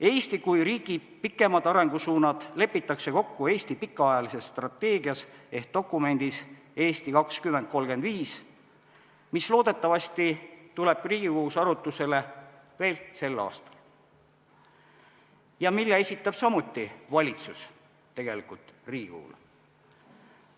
Eesti kui riigi pikemad arengusuunad lepitakse kokku Eesti pikaajalises strateegias ehk dokumendis "Eesti 2035", mis loodetavasti tuleb Riigikogus arutlusele veel sel aastal ja mille samuti esitab valitsus Riigikogule.